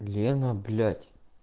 лена блять